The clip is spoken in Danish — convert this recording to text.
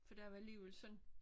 For der var alligevel sådan